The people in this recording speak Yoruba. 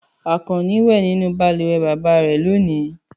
Àkànní wẹ nínú balùwẹ̀ bàbá rẹ̀ lónìí.